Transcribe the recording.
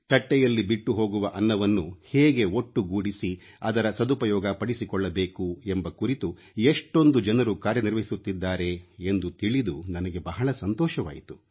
ತಟ್ಟೆಯಲ್ಲಿ ಬಿಟ್ಟುಹೋಗುವ ಅನ್ನವನ್ನು ಹೇಗೆ ಒಟ್ಟುಗೂಡಿಸಿ ಅದರ ಸದುಪಯೋಗಪಡಿಸಿಕೊಳ್ಳಬೇಕು ಎಂಬ ಕುರಿತು ಎಷ್ಟೊಂದು ಜನರು ಕಾರ್ಯನಿರ್ವಹಿಸುತ್ತಿದ್ದಾರೆ ಎಂದು ತಿಳಿದು ನನಗೆ ಬಹಳ ಸಂತೋಷವಾಯಿತು